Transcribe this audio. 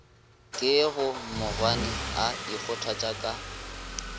ke bomogwane a ikgothatša ka